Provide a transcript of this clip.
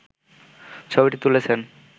ছবিটি তুলেছেন